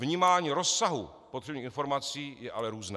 Vnímání rozsahu potřebných informací je ale různé.